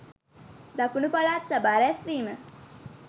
දකුණු පළාත් සභා රැස්වීම